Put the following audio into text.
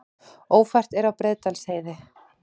Ófært er á Breiðdalsheiði